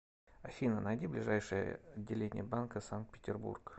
афина найди ближайшее отделение банка санкт петербург